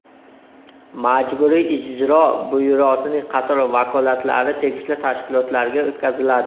Majburiy ijro byurosining qator vakolatlari tegishli tashkilotlarga o‘tkaziladi.